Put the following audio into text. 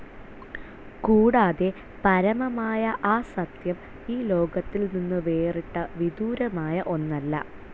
കൂടാതെ, പരമമായ ആ സത്യം, ഈ ലോകത്തിൽ നിന്നു വേറിട്ട, വിദൂരമായ ഒന്നല്ല.